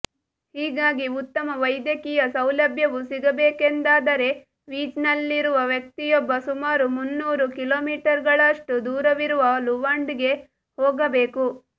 ಹೀಗಾಗಿ ಉತ್ತಮ ವೈದ್ಯಕೀಯ ಸೌಲಭ್ಯವು ಸಿಗಬೇಕೆಂದಾದರೆ ವೀಜ್ ನಲ್ಲಿರುವ ವ್ಯಕ್ತಿಯೊಬ್ಬ ಸುಮಾರು ಮುನ್ನೂರು ಕಿಲೋಮೀಟರುಗಳಷ್ಟು ದೂರವಿರುವ ಲುವಾಂಡಾಗೆ ಹೋಗಬೇಕು